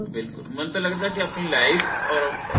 ਬਿਲਕੁਲ ਮੈਨੂੰ ਤਾ ਲੱਗਦਾ ਕੇ ਆਪਣੀ life ਓਰ ਅਹ